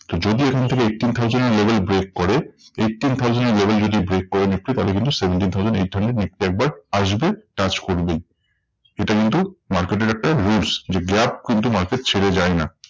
তো যদি এখান থেকে eighteen thousand এর level break করে, eighteen thousand এর level যদি break করে নিফটি তাহলে কিন্তু seventeen thousand eight hundred Nifty একবার আসবে touch করবে। এটা কিন্তু market এর একটা rules. যে gap কিন্তু market ছেড়ে যায় না।